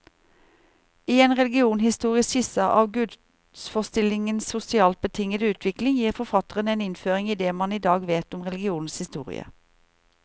I en religionshistorisk skisse av gudsforestillingenes sosialt betingede utvikling, gir forfatteren en innføring i det man i dag vet om religionens historie.